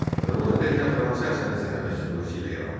Azərbaycanda teatr hansı əsərin səhnələşdirilməsi ilə yaranmışdı?